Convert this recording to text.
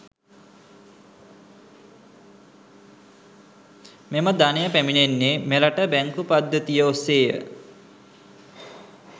මෙම ධනය පැමිණෙන්නේ මෙරට බැංකු පද්ධතිය ඔස්සේය.